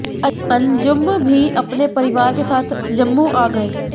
अंजुम भी अपने परिवार के साथ जम्मू आ गए